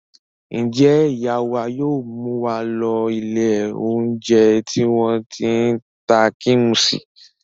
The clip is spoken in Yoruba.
Ǹjẹ́ ìyá wa yóò mú wa lọ ilé-oúnjẹ tí wọ́n ti ń ta kíḿṣì?